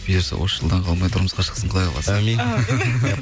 бұйырса осы жылдан қалмай тұрмысқа шықсын құдай қаласа әумин әумин